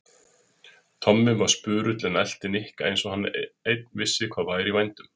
Tommi var spurull en elti Nikka eins og hann einn vissi hvað væri í vændum.